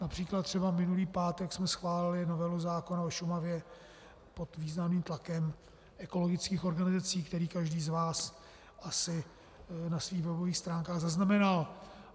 Například třeba minulý pátek jsme schválili novelu zákona o Šumavě pod významným tlakem ekologických organizací, který každý z vás asi na svých webových stránkách zaznamenal.